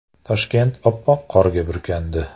Toshkent oppoq qorga burkandi .